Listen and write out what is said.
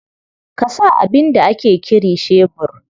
Ka sa abin da ake kiri shebur?